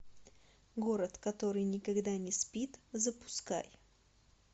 город который никогда не спит запускай